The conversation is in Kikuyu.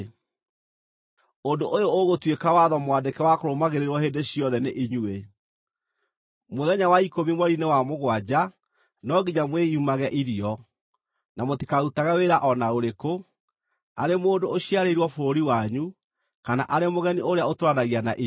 “Ũndũ ũyũ ũgũtuĩka watho mwandĩke wa kũrũmagĩrĩrwo hĩndĩ ciothe nĩ inyuĩ: Mũthenya wa ikũmi mweri-inĩ wa mũgwanja no nginya mwĩimage irio, na mũtikarutage wĩra o na ũrĩkũ, arĩ mũndũ ũciarĩirwo bũrũri wanyu, kana arĩ mũgeni ũrĩa ũtũũranagia na inyuĩ,